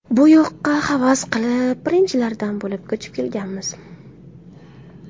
Bu yoqqa havas qilib, birinchilardan bo‘lib ko‘chib kelganmiz.